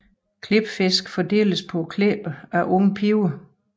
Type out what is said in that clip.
Klipfisk fordeles på klipperne af unge piger